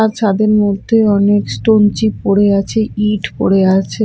আর ছাদের মধ্যে অনেক স্টোনচিপ পড়ে আচে ইট পড়ে আচে।